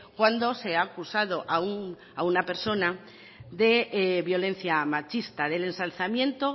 cuando se ha acusado a una persona de violencia machista del ensalzamiento